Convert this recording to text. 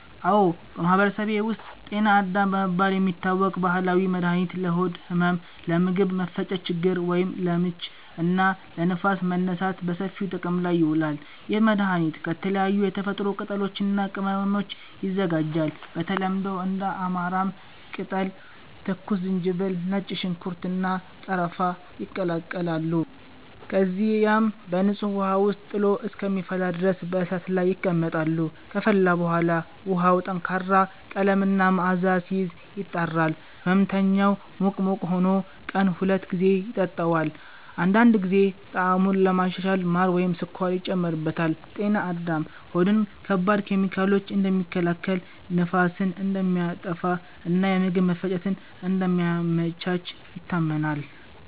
አዎ፣ በማህበረሰቤ ውስጥ “ጤና አዳም” በመባል የሚታወቅ ባህላዊ መድኃኒት ለሆድ ህመም፣ ለምግብ መፈጨት ችግር (ለምች) እና ለንፋስ መነሳት በሰፊው ጥቅም ላይ ይውላል። ይህ መድኃኒት ከተለያዩ የተፈጥሮ ቅጠሎች እና ቅመሞች ይዘጋጃል። በተለምዶ እንደ አማራም ቅጠል፣ ትኩስ ዝንጅብል፣ ነጭ ሽንኩርት፣ እና ቀረፋ ይቀላቀላሉ። እነዚህ ቅጠሎች በደንብ ታጥበው ይደቀቃሉ፣ ከዚያም በንጹህ ውሃ ውስጥ ጥሎ እስከሚፈላ ድረስ በእሳት ላይ ይቀመጣሉ። ከፈላ በኋላ ውሃው ጠንካራ ቀለም እና መዓዛ ሲይዝ፣ ይጣራል። ሕመምተኛው ሙቅ ሙቅ ሆኖ ቀን ሁለት ጊዜ ይጠጣዋል። አንዳንድ ጊዜ ጣዕሙን ለማሻሻል ማር ወይም ስኳር ይጨመርበታል። “ጤና አዳም” ሆድን ከባድ ኬሚካሎች እንደሚከላከል፣ ንፋስን እንደሚያጠፋ እና የምግብ መፈጨትን እንደሚያመቻች ይታመናል።